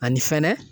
Ani fɛnɛ